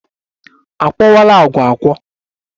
A kwọkwala agwa akwọ?